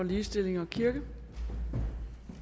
ligestilling og kirke